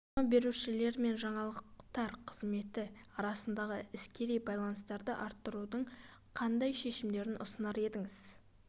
жарнама берушілер мен жаңалықтар қызметі арасындағы іскери байланыстарды арттырудың қандай шешімдерін ұсынар едіңіз